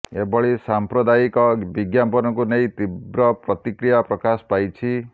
ଏଭଳି ସାଂପ୍ରଦାୟିକ ବିଜ୍ଞାପନକୁ ନେଇ ତୀବ୍ର ପ୍ରତିକ୍ରିୟା ପ୍ରକାଶ ପାଇଛି